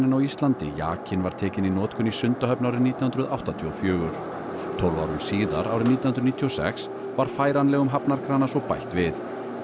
á Íslandi jakinn var tekinn í notkun í Sundahöfn árið nítján hundruð áttatíu og fjögur tólf árum síðar árið nítján hundruð níutíu og sex var færanlegum svo bætt við